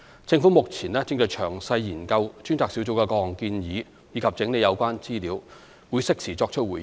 政府目前正詳細研究專責小組各項建議及整理有關資料，會適時作出回應。